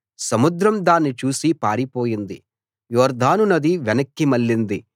సముద్రం దాన్ని చూసి పారిపోయింది యొర్దాను నది వెనక్కి మళ్ళింది